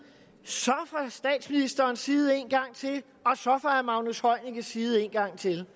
så fra statsministerens side engang til og så fra herre magnus heunickes side en gang til